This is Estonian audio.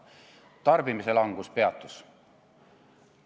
Tarbimise langus peatus.